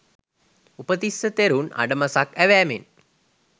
උපතිස්ස තෙරුන් අඩමසක් ඇවෑමෙන්